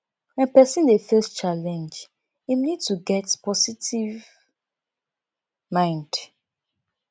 when person dey face challenge im need to get positive mind